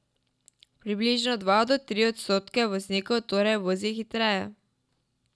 Približno dva do tri odstotke voznikov torej vozi hitreje.